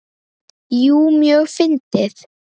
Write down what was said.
Jú, mjög fyndið.